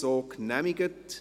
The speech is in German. So genehmigt.